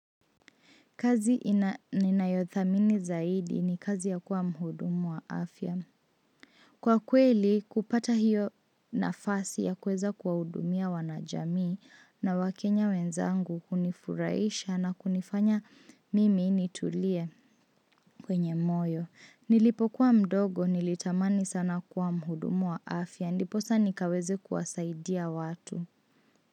Kazi ninayothamini zaidi ni kazi ya kuwa mhudumu wa afya. Kwa kweli kupata hiyo nafasi ya kuweza kuwahudumia wanajamii na wakenya wenzangu hunifurahisha na kunifanya mimi nitulie kwenye moyo. Nilipokuwa mdogo nilitamani sana kuwa mhudumu wa afya. Ndiposa nikaweze kuwasaidia watu.